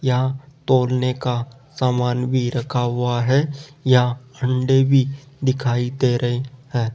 यहां तौलने का सामान भी रखा हुआ है यहां अंडे भी दिखाई दे रहे हैं।